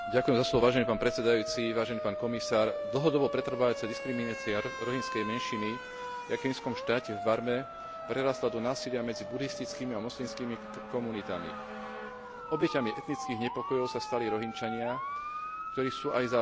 Dlhodobo pretrvávajúca diskriminácia rohingskej menšiny v etnickom štáte, v Barme, prerástla do násilia medzi budhistickými a moslimskými komunitami. Obeťami etnických nepokojov sa stali Rohingčania, ktorí sú aj za spoluúčasti miestnych orgánov vyháňaní z krajiny.